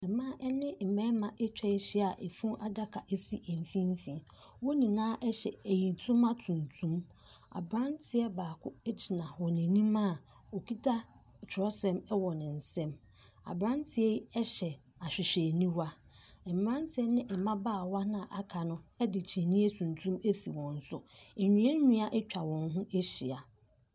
Mmaa ɛne mbɛma atwa ahyia a efunu adaka esi nfinfii. Wɔn nyinaa ɛkyɛ eyie ntoma tuntum. Abranteɛ baako egyina wɔn anim a okita kyerɛw nsem ɛwɔ n'sɛm. Abranteɛ yi ɛhyɛ ahwehwɛniwa. Mmarantie ene m'babaawa na akaa edi kyeneeso wɔn so.